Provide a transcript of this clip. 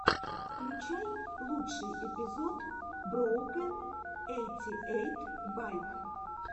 включай лучший эпизод броукэн эйти эйт байк